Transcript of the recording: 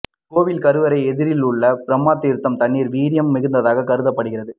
கோவில் கருவறை எதிரில் உள்ள பிரம்ப தீர்த்த தண்ணீர் வீரியம் மிக்கதாக கருதப் படுகிறது